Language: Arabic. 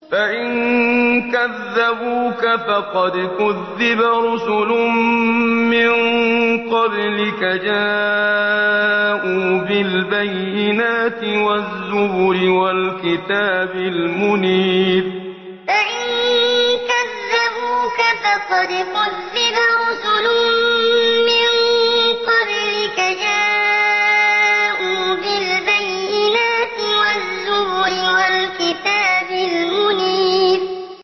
فَإِن كَذَّبُوكَ فَقَدْ كُذِّبَ رُسُلٌ مِّن قَبْلِكَ جَاءُوا بِالْبَيِّنَاتِ وَالزُّبُرِ وَالْكِتَابِ الْمُنِيرِ فَإِن كَذَّبُوكَ فَقَدْ كُذِّبَ رُسُلٌ مِّن قَبْلِكَ جَاءُوا بِالْبَيِّنَاتِ وَالزُّبُرِ وَالْكِتَابِ الْمُنِيرِ